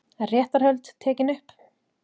Réttarhöld tekin upp